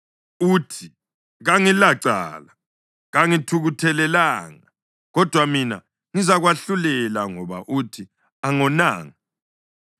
uthi, ‘Kangilacala; kangithukuthelelanga.’ Kodwa mina ngizakwahlulela, ngoba uthi, ‘Angonanga.’